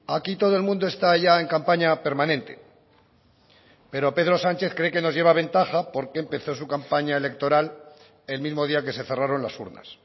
aquí todo el mundo está ya en campaña permanente pero pedro sánchez cree que nos lleva ventaja porque empezó su campaña electoral el mismo día que se cerraron las urnas